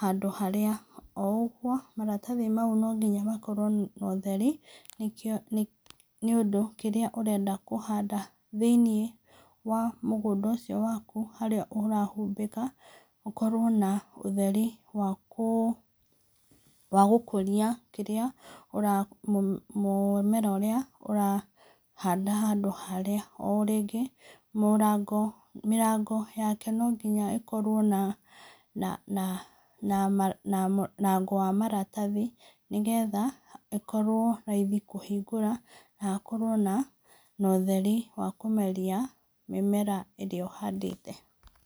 handũ harĩa, o ũguo maratathi mau no nginya makorwo na ũtheri nĩkĩo, nĩ ũndũ kĩrĩa ũrenda kũhanda thĩiniĩ wa mũgũnda ũcio waku harĩa ũrahũmbĩka, gũkorwo na ũtheri wakũ wagũkũria kĩrĩa ũra mũmera ũrĩa ũrahanda handũ harĩa, o rĩngĩ mũrango, mirango yake no nginya ĩkorwo na mũrango wa maratathi, nĩgetha ĩkorwo raithi kũhingũra, na hakorwo na ũtheri wa kũmeria mĩmera irĩa ũhandĩte.